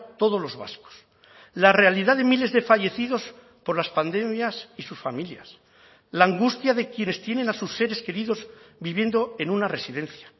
todos los vascos la realidad de miles de fallecidos por las pandemias y sus familias la angustia de quienes tienen a sus seres queridos viviendo en una residencia